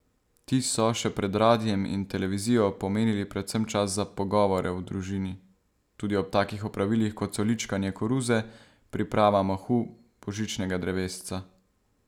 Ti so, še pred radiem in televizijo, pomenili predvsem čas za pogovore v družini, tudi ob takih opravilih, kot so ličkanje koruze, priprava mahu, božičnega drevesca...